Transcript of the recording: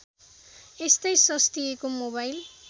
यस्तै सस्तिएको मोबाइल